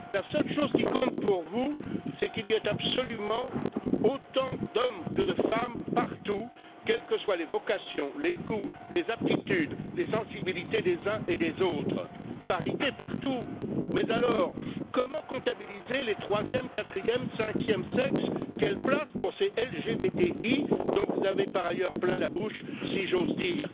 La seule chose qui compte pour vous est qu'il y ait absolument autant d'hommes que de femmes partout, quels que soient les vocations, les goûts, les aptitudes, les sensibilités des uns et des autres. Parité partout, mais alors, comment comptabiliser les troisième, quatrième, cinquième sexes, et quelle place pour ces LGBTI, dont vous avez par ailleurs plein la bouche, si j'ose dire?